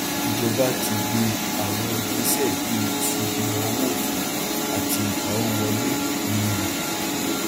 ìjọba ti gbe àwọn ìgbésẹ bí ìsọdìwọn owó òfin àti ìpawo wọlé míì